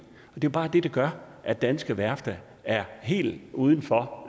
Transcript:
det er jo bare det der gør at danske værfter er helt uden for